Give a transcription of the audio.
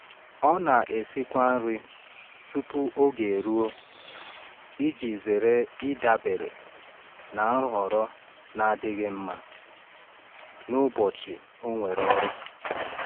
Ọ na-esikwa nri tupu oge eruo iji zere ịdabere na nhọrọ na-adịghị mma n’ụbọchị o nwere ọrụ.